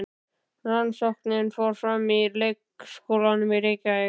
Rannsóknin fór fram í leikskólum í Reykjavík.